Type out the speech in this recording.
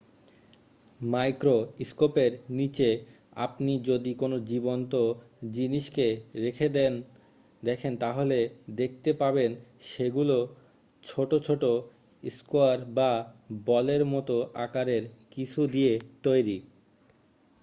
মাইক্রোস্কোপের নীচে আপনি যদি কোন জীবন্ত জিনিসকে রেখে দেখেন তাহলে দেখতে পাবেন সেগুলো ছোট ছোট স্কোয়ার বা বলের মতো আকারের কিছু দিয়ে তৈরি